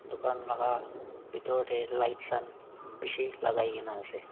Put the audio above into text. dukan laka bhitor tae lights khan bishi lakai kaena ase.